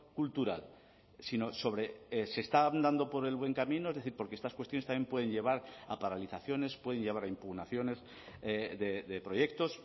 cultural sino sobre se está andando por el buen camino es decir porque estas cuestiones también pueden llevar a paralizaciones pueden llevar a impugnaciones de proyectos